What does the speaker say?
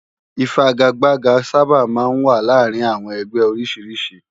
Ifàgágbàgá sàbá má n wá làárin áwòn ègbè ôrìsírìsí